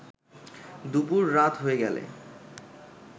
দুপুর রাত হয়ে গেল